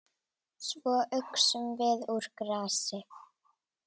Svo uxum við úr grasi.